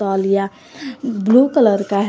तौलिया blue colour का है।